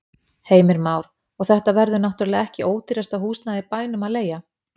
Heimir Már: Og þetta verður náttúrulega ekki ódýrasta húsnæðið í bænum að leigja?